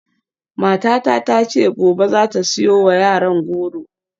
Matata ta ce gobe za ta siyo wa yaran goro.